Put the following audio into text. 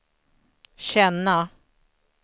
känna